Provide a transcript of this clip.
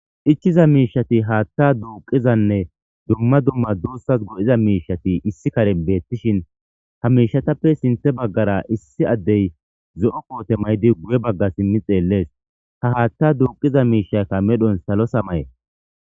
ichiza miishati haatha duuqizanne dumma dumma doossas go7iza miishati issi kare beettishin ha miishatappe sinthe baggara issi addey zo7o koote maydi guye bagga simmi xeellees ha haatta duuqiza miishakka medhon salo samaye